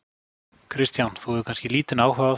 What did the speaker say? Kristján: Þú hefur kannski haft lítinn áhuga á því?